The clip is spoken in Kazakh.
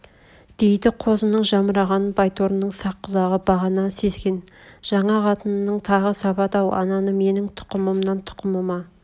дейді қозының жамырағанын байторының сақ құлағы бағана сезген жаңа қатынының тағы сабады-ау ананы менің тұқымымнан тұқымыма